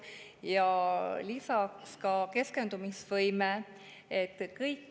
Lisaks on ka keskendumisvõimele.